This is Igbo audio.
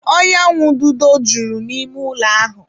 Ọnyanwududo juru n'ime ụlọ ahụ.